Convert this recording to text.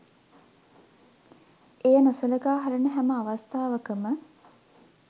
එය නොසලකා හරින හැම අවස්ථාවකම